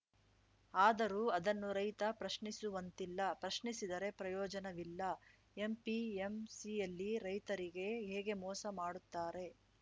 ಆದರೂ ಅದನ್ನು ರೈತ ಪ್ರಶ್ನಿಸುವಂತಿಲ್ಲ ಪ್ರಶ್ನಿಸಿದರೆ ಪ್ರಯೋಜನವಿಲ್ಲ ಎಪಿಎಂಸಿಯಲ್ಲಿ ರೈತರಿಗೆ ಹೇಗೆ ಮೋಸ ಮಾಡುತ್ತಾರೆ